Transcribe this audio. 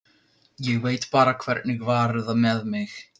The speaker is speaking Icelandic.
Ég veit bara hvernig var með mig.